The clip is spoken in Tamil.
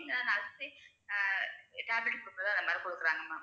இங்க nurse ஏ ஆ tablet குடுக்கறதே எல்லாரும் குடுக்கறாங்க ma'am